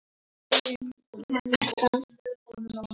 Karen Helga.